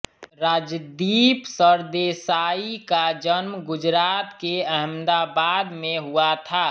राजदीप सरदेसाई का जन्म गुजरात के अहमदाबाद में हुआ था